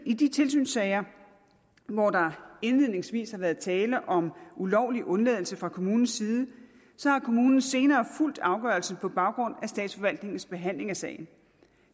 i de tilsynssager hvor der indledningsvis har været tale om ulovlig undladelse fra kommunens side har kommunen senere fulgt afgørelsen på baggrund af statsforvaltningens behandling af sagen